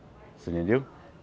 Você entendeu?